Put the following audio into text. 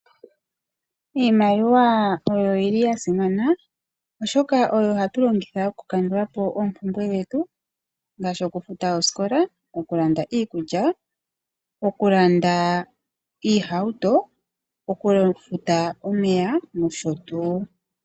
Iimaliwa oyili yasimana oshoka oyo hatulongitha okukandulapo oompumbwe dhetu ngaashi okufuta oosikola, okulanda iikulya, okulanda oohauto nokufuta omeya nosho tuu.